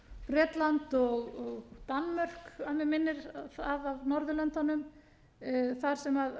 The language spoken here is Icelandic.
bretland og danmörk að mig minnir af norðurlöndunum þar sem